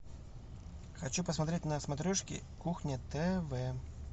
хочу посмотреть на смотрешке кухня тв